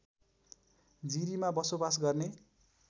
जिरीमा बसोवास गर्ने